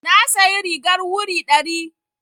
Na sayi rigar wuri ɗari.